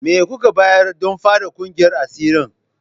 Me kuka bayar don fara kungiyar asirin?